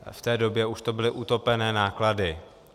V té době už to byly utopené náklady.